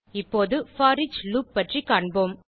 இப்போது for each loop பற்றி காண்போம்